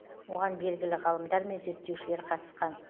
оған белгілі ғалымдар мен зерттеушілер қатысқан